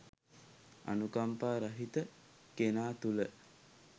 අනුකම්පා රහිත කෙනා තුළ